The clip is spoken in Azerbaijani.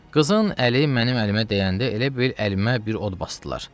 Qızın əli mənim əlimə dəyəndə elə bil əlimə bir od basdılar.